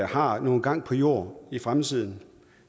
har nogen gang på jord i fremtiden